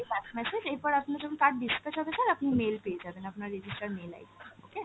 last message, এরপর আপনার যখন card dispatch হবে sir আপনি mail পেয়ে যাবেন আপনার register mail ID তে okay ।